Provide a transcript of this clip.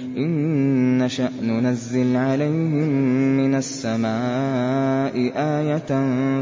إِن نَّشَأْ نُنَزِّلْ عَلَيْهِم مِّنَ السَّمَاءِ آيَةً